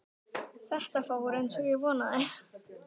Þetta fór eins og ég vonaði